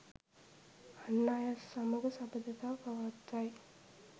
අන් අය සමඟ සබඳතා පවත්වයි.